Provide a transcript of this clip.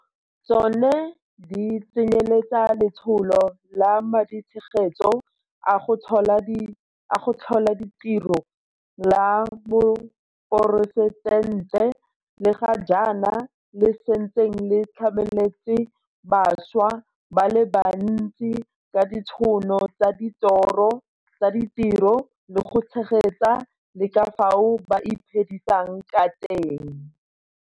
Tsone di tsenyeletsa Letsholo la Maditshegetso a go Tlhola Ditiro la Moporesitente, le ga jaana le setseng le tlametse bašwa ba le bantsi ka ditšhono tsa ditiro le go tshegetsa le ka fao ba iphedisang ka teng.